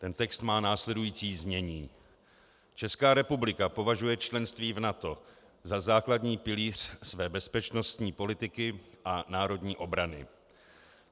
Ten text má následující znění: "Česká republika považuje členství v NATO za základní pilíř své bezpečnostní politiky a národní obrany.